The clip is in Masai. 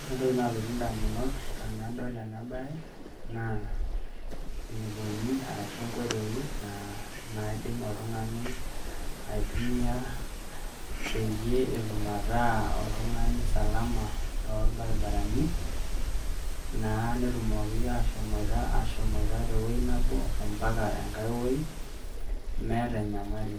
Ore endoki nalotu endamunot te nadol e nabaya naa eniponi arashu enkotoi naidim oltungani aitumia peyie etum ata oltungani salama tol barabarani naa neitumoki ashomoitaa te wuei nabo mpaka engai wuei meeta enyamali